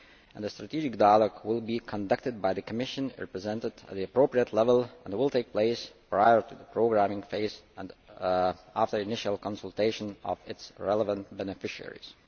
The strategic dialogue will be conducted by the Commission represented at the appropriate level and it will take place prior to the programming phase and after the initial consultation of the relevant beneficiaries.